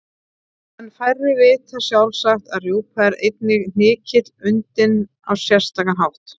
En færri vita sjálfsagt að rjúpa er einnig hnykill undinn á sérstakan hátt.